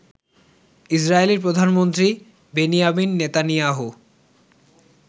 Israeli প্রধানমন্ত্রী Benjamin Netanyahu